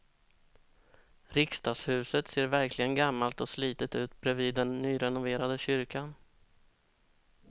Riksdagshuset ser verkligen gammalt och slitet ut bredvid den nyrenoverade kyrkan.